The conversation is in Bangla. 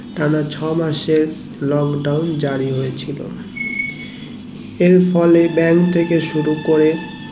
টানা ছয়মাস এর lockdown জারি হয়েছিল এর ফলে ব্যাঙ্ক থেকে শুরু করে